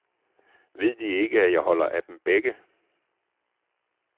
Ved de ikke, at jeg holder af dem begge?